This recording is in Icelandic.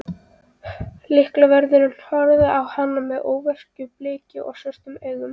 Lyklavörðurinn horfði á hann með óveðursbliku í svörtum augunum.